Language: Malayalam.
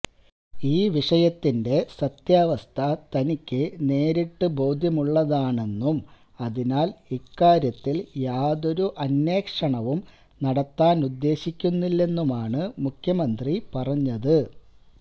ഈ വിഷയത്തിന്റെ സത്യാവസ്ഥ തനിക്ക് നേരിട്ട് ബോധ്യമുള്ളതാണെന്നും അതിനാല് ഇക്കാര്യത്തില് യാതൊരു അന്വേഷണവും നടത്താനുദ്ദേശിക്കുന്നില്ലെന്നുമാണ് മുഖ്യമന്ത്രി പറഞ്ഞത്